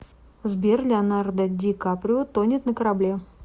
сбер леонардо ди каприо тонет на корабле